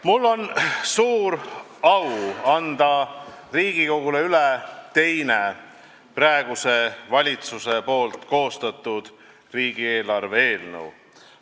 Mul on suur au anda Riigikogule üle teine praeguse valitsuse koostatud riigieelarve eelnõu.